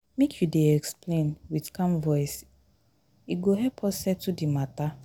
make you dey explain wit calm voice e go help us settle di mata.